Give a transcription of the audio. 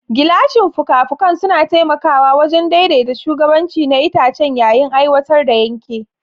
Gilashin fuka-fukan suna taimakawa wajen daidaita shugabanci na itace yayin aiwatar da yanke.